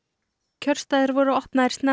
kjörstaðir voru opnaðir snemma